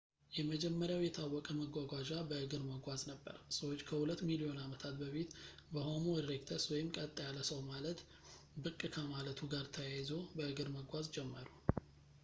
የመጀመሪያው የታወቀ መጓጓዣ በእግር መጓዝ ነበር ፣ ሰዎች ከሁለት ሚሊዮን ዓመታት በፊት በሆሞ ኢሬክተስ ቀጥ ያለ ሰው ማለት ብቅ ከማለቱ ጋር ታያይዞ፣ በእግር መጓዝ ጀመሩ